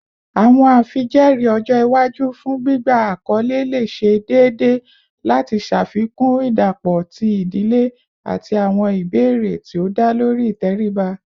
Awọn afijẹẹri ọjọ iwaju fun gbigba akọle le ṣe deede lati ṣafikun idapọ ti idile ati awọn ibeere ti o da lori iteriba